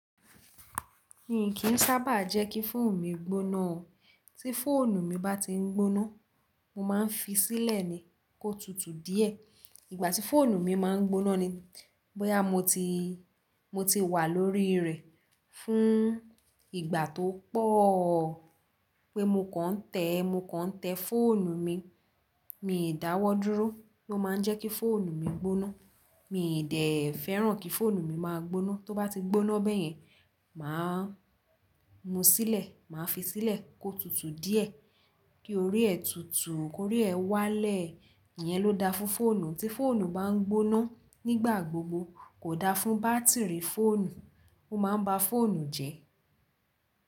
Mi kì n sábà jẹ́ kí fóònù mi gbóná o. Tí fóònù mi bá ti n gbóná, mo máa n fi sílẹ̀ ni kó tutù díẹ̀. Ìgbà tí fóònù mi ma n gbóná ni bóyá mo ti, mo ti wà lórí rẹ̀ fún ìgbà tó pọ̀, pé mo kàn tẹ̀, mo kàn tẹ́ fóònù mi, mi dàwọ́ dúró. O máa n jẹ́ kí fóònù mi gbóná. Mi dé fẹ́ràn kí fóònù mi máa gbóná. Tó bá ti gbóná bẹ́yẹn, mà á mú sílẹ̀, mà á fi sílẹ̀ kó tutù díẹ̀, kí orí ẹ tutù, kí orí ẹ wálẹ̀. Iyẹn ló da fún fóònù. Tí fóònù bá n gbóná nígbà gbogbo kò da fún bátìrì fóònù. Ó máa n ba fóònù jẹ́.